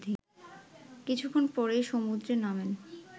কিছুক্ষণ পরেই সমুদ্রে নামেন